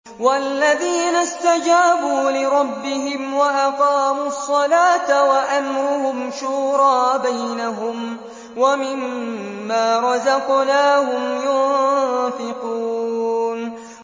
وَالَّذِينَ اسْتَجَابُوا لِرَبِّهِمْ وَأَقَامُوا الصَّلَاةَ وَأَمْرُهُمْ شُورَىٰ بَيْنَهُمْ وَمِمَّا رَزَقْنَاهُمْ يُنفِقُونَ